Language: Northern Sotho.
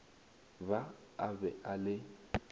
ba a be a le